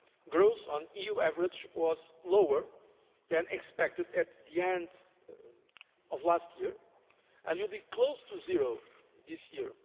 Growth as an EU average was lower than expected at the end of last year and will be close to zero this year.